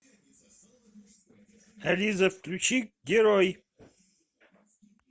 алиса включи герои